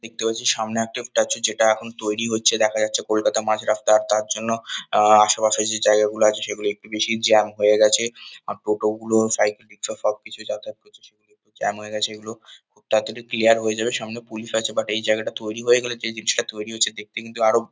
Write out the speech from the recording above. দেখতে পাচ্ছি সামনে একটা স্ট্যাচু যেটা এখন তৈরি হচ্ছে। দেখা যাচ্ছে কলকাতার মাঝ রাস্তা তার জন্য আহ আশেপাশের যে জায়গাগুলো আছে সেগুলি একটু বেশি জ্যাম হয়ে গেছে। আর টোটোগুলো সাইকেল রিকশা সবকিছুই যাতায়াত করছে সেগুল একটু জ্যাম হয়ে গেছে এগুলো খুব তাড়াতাড়ি ক্লিয়ার হয়ে যাবে সামনে পুলিশ আছে বাট এই জায়গাটা তৈরি হয়ে গেলে যে জিনিসটা তৈরি হচ্ছে দেখতে কিন্তু আরও --